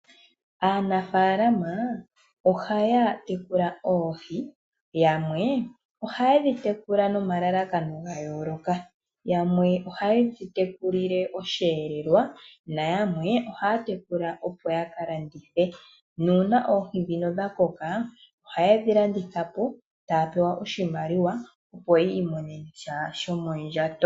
Aanafaalama ohaya tekula oohi. Yamwe ohaye dhi tekula nomalalakano ga yooloka. Yamwe ohaye dhi tekulile osheelelwa nayamwe oha ya tekula opo ya kalandithe nuuna oohi ndhino dhakoka ohaye dhi landitha po taya pewa oshimaliwa opo yiimonena sha shomondjato.